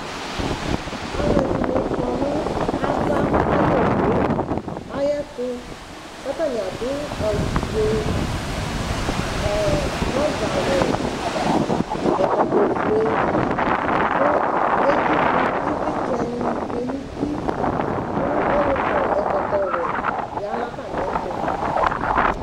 Alʋ ɛdini kɔnʋ ava ayʋ owʋe ayʋ etʋ katani adʋ awʋfue trɔzawɛ ɛkɔtɔfue kʋ etsʋkʋ ivlitsɛni tsue nʋ ut kʋ ɔlʋ kɔ ɛkɔtɔwɛ yanʋ atami ɛtʋ